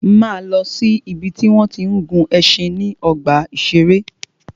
Máa lọ si ìbi tí wọ́n tí ń gun ẹṣin níbi ọgbà ìṣẹ̀rẹ́.